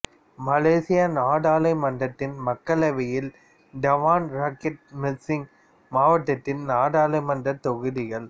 மலேசிய நாடாளுமன்றத்தின் மக்களவையில் Dewan Rakyat Mersing மாவட்டத்தின் நாடாளுமன்றத் தொகுதிகள்